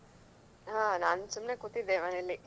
ಹಾ ನಾನ್ ಸುಮ್ನೆ ಕೂತಿದ್ದೆ ಮನೆಯಲ್ಲಿ.